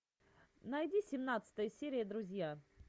найди семнадцатая серия друзья